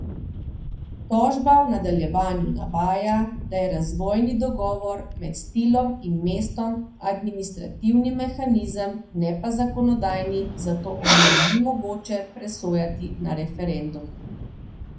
Tožba v nadaljevanju navaja, da je razvojni dogovor med Stilom in mestom administrativni mehanizem, ne pa zakonodajni, zato o njem ni mogoče presojati na referendumu.